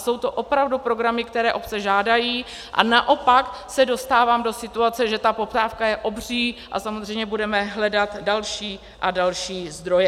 Jsou to opravdu programy, které obce žádají, a naopak se dostávám do situace, že ta poptávka je obří a samozřejmě budeme hledat další a další zdroje.